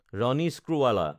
Ronnie Screwvala